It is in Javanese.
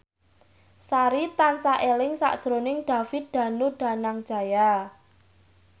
Sari tansah eling sakjroning David Danu Danangjaya